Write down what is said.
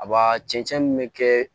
A ba cɛncɛn min bɛ kɛ